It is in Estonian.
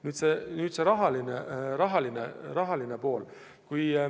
Nüüd rahalisest poolest.